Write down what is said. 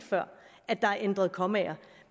at der er blevet ændret kommaer